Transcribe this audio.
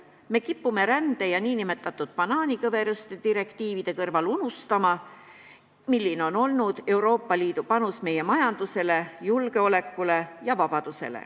Me kipume rände ja nn banaanikõveruste direktiivide kõrval unustama, milline on olnud Euroopa Liidu panus meie majandusse, julgeolekusse ja vabadusse.